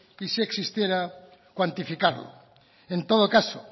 y si existiera cuantificarlo en todo caso